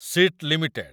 seat limited